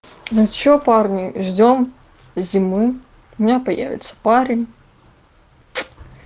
ну что парни ждём зимы у меня появится парень